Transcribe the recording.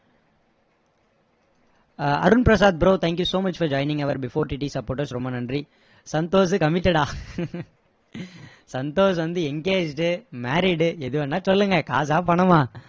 ah Arunprasad bro thank you so much for joining before TT supporters ரொம்ப நன்றி Santhosh committed டா சந்தோஷ் வந்து engaged married எது வேணும்னா சொல்லுங்க காசா பணமா